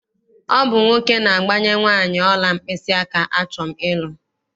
Ọ bụ nwoke na-agbanye nwaanị ọla mkpịsịaka achọm ịlụ.